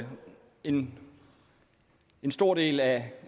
en stor del af